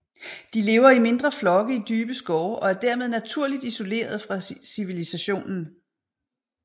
De lever i mindre flokke i dybe skove og er dermed naturligt isolerede fra civilisationen